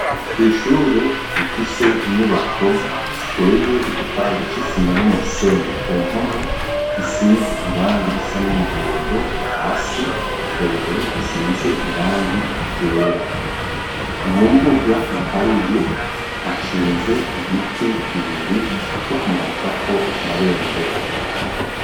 ku ishure rifise inyubako ziteye igipande c'isimba n'umusenyi ku mpome zisize irangi irisa n'umuhondo hasi hejuru hasize irangi igera mu mbuga iharuye hasinze ibiti bibiri byo kumanika ko amabendera